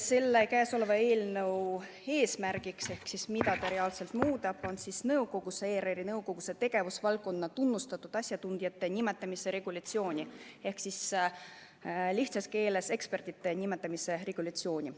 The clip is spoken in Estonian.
Selle eelnõu eesmärk on muuta ERR-i nõukogusse tegevusvaldkonna tunnustatud asjatundjate nimetamise regulatsiooni ehk lihtsas keeles öelduna ekspertide nimetamise regulatsiooni.